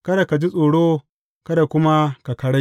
Kada ka ji tsoro; kada kuma ka karai.